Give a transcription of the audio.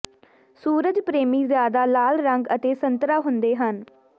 ਸੂਰਜ ਪ੍ਰੇਮੀ ਜ਼ਿਆਦਾ ਲਾਲ ਰੰਗ ਅਤੇ ਸੰਤਰਾ ਹੁੰਦੇ ਹਨ